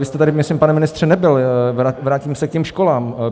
Vy jste tady, myslím, pane ministře nebyl, vrátím se k těm školám.